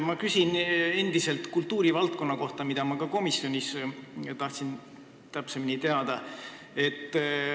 Ma küsin endiselt kultuurivaldkonna kohta, mille kohta ma tahtsin ka komisjonis täpsemini teada saada.